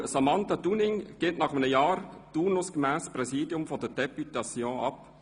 Frau Samantha Dunning gibt nach einem Jahr turnusgemäss das Präsidium der Députation ab.